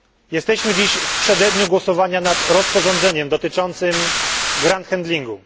Jesteśmy dziś w przededniu głosowania nad rozporządzeniem dotyczącym ground handlingu